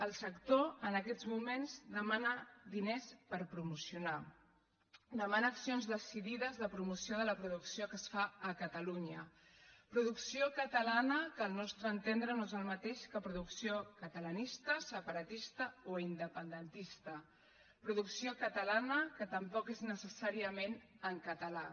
el sector en aquests moments demana diners per promocionar demana accions decidides de promoció de la producció que es fa a catalunya producció catalana que al nostre entendre no és el mateix que producció catalanista separatista o independentista producció catalana que tampoc és necessàriament en català